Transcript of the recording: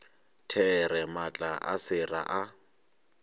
there maatla a sera a